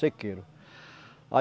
Sequeiro.